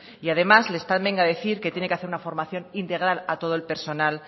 y además le están venga a decir que tiene que hacer una formación integral a todo el personal